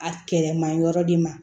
A kɛlɛ ma yɔrɔ de ma